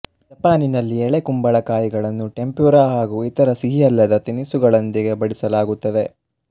ಜಪಾನನಲ್ಲಿ ಎಳೆ ಕುಂಬಳಕಾಯಿಗಳನ್ನು ಟೆಂಪ್ಯುರ ಹಾಗೂ ಇತರ ಸಿಹಿಯಲ್ಲದ ತಿನಿಸುಗಳೊಂದಿಗೆ ಬಡಿಸಲಾಗುತ್ತದೆ